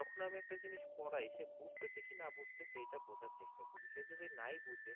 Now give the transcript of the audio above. যখন আমি একটা জিনিস পড়াই সে বুঝতে কি না বুঝতেছে এটা বোঝার চেষ্টা করি সে যদি নাই বুঝে